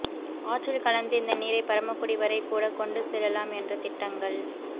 ஆற்றில் கலந்து இந்த நீரை பரமக்குடி வரை கூட கொண்டு செல்லலாம் என்ற திட்டங்கள்